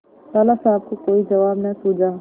लाला साहब को कोई जवाब न सूझा